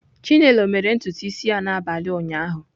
Chinelo mere ntutu isi ya n'abalị ụnyaahụ?